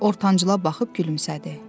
Ortancala baxıb gülümsədi.